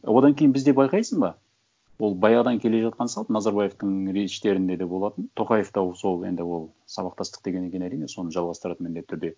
одан кейін бізде байқайсың ба ол баяғыдан келе жатқан салт назарбаевтың речьтерінде де болатын тоқаев та сол енді ол сабақтастық дегеннен кейін әрине соны жалғастырады міндетті түрде